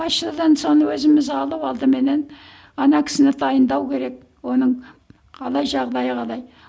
почтадан соны өзіміз алып алдыменен ана кісіні дайындау керек оның қалай жағдайы қалай